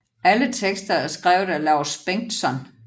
Alle tekster er skrevet af Laus Bengtsson